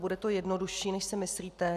Bude to jednodušší, než si myslíte.